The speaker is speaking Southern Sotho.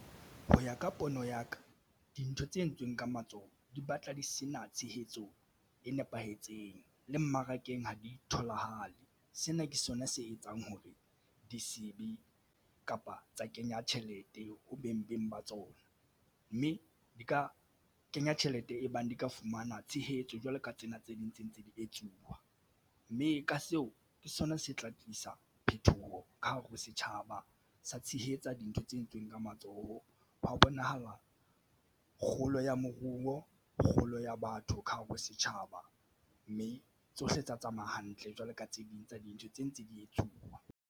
Ho ya ka pono ya ka dintho tse entsweng ka matsoho di batla di sena tshehetso e nepahetseng le mmarakeng ha di tholahale. Sena ke sona se etsang hore ditsebi kapa tsa kenya tjhelete ho beng ba tsona, mme di ka kenya tjhelete e bang di ka fumana tshehetso jwalo ka tsena tse ding tse ntse di etsuwa mme ka seo ke sona se tla tlisa phethoho ka hare ho setjhaba sa tshehetsa dintho d tse entsweng ka matsoho wa ho bonahala kgolo ya moruo, kgolo ya batho ka hare ho setjhaba mme tsohle tsa tsamaya hantle jwalo ka tse ding tsa dintho tse ntse di etsuwa.